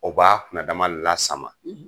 O b'a kunna dama lasama,